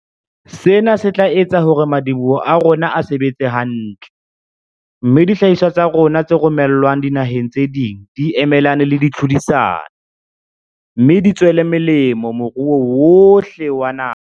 Sena se tla etsa hore madi-boho a rona a sebetse hantle, mme dihlahiswa tsa rona tse romelwang dinaheng tse ding di emelane le tlhodisano, me di tswele molemo moruo wohle wa naha.